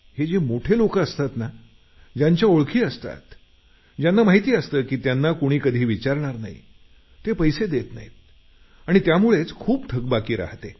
हे जे मोठे लोक असतात ना ज्यांच्या ओळखी असतात ज्यांना माहिती असतं की त्यांना कुणीच कधी विचारणार नाही ते पैसे देत नाहीत आणि त्यामुळे खूप थकबाकी राहते